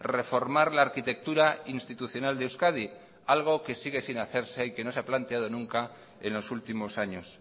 reformar la arquitectura institucional de euskadi algo que sigue sin hacerse y que no se ha planteado nunca en los últimos años